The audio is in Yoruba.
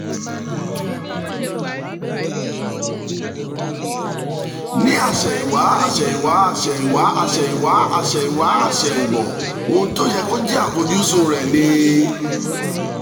ní àsẹ̀yìnwá àsẹ̀yìnwá àsẹ̀yìnwá àsẹ̀yìnwá àsẹ̀yìnwá àsẹ̀yìnbọ̀ ohun tó yẹ kó jẹ́ àfojúsùn rẹ̀ ni